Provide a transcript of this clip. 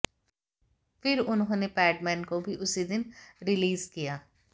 फिर उन्होंने पैडमैन को भी उसी दिन रिलीज़ किया